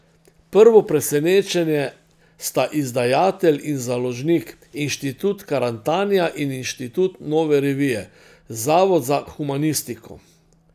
Prvo presenečenje sta izdajatelj in založnik, Inštitut Karantanija in inštitut Nove revije, zavod za humanistiko.